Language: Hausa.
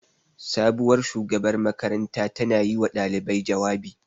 Sabuwar shugabar makaranta ta na yi wa ɗalibai jawabi